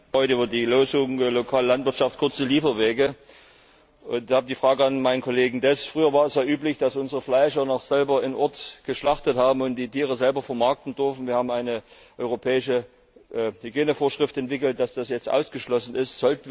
Heute sprechen wir über die Losung lokale Landwirtschaft kurze Lieferwege, und da habe ich eine Frage an meinen Kollegen Deß Früher war es ja üblich, dass unsere Fleischer noch selber im Ort geschlachtet haben und die Tiere selber vermarkten durften. Wir haben eine europäische Hygienevorschrift entwickelt, nach der das jetzt ausgeschlossen ist.